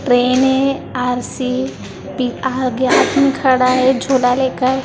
Train है R C B आगे आगे आदमी खड़ा है झोला लेकर।